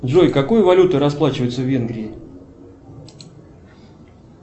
джой какой валютой расплачиваются в венгрии